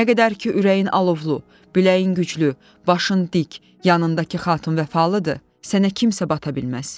Nə qədər ki ürəyin alovlu, biləyin güclü, başın dik, yanındakı xatın vəfalıdır, sənə kimsə bata bilməz.